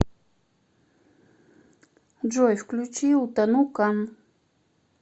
джой включи утону кан